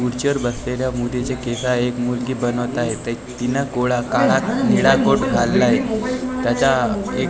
खुडचीवर बसलेल्या मुलीची केस आहेत मुलगी बनवत आहे तीन कोळा काळा निळा कोट घातला आहे त्याचा एक--